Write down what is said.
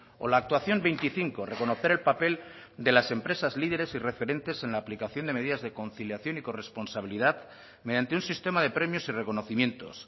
o la actuación veinticinco reconocer el papel de las empresas líderes y referentes en la aplicación de medidas de conciliación y corresponsabilidad mediante un sistema de premios y reconocimientos